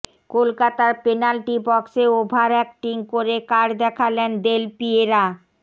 কলকাতার পেনাল্টি বক্সে over acting করে কার্ড দেখলেন দেল পিয়েরা